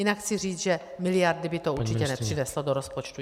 Jinak chci říct, že miliardy by to určitě nepřineslo do rozpočtu.